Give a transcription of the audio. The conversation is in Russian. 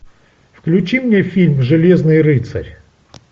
включи мне фильм железный рыцарь